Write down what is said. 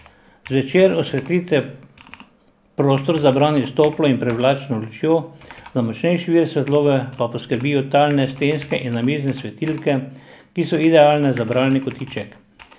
Zvečer osvetlite prostor za branje s toplo in privlačno lučjo, za močnejši vir svetlobe pa poskrbijo talne, stenske in namizne svetilke, ki so idealne za bralni kotiček.